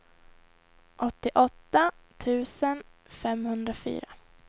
åttioåtta tusen femhundrafyra